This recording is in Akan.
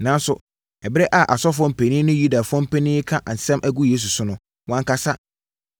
Nanso, ɛberɛ a asɔfoɔ mpanin ne Yudafoɔ mpanin reka nsɛm gu Yesu so no, wankasa.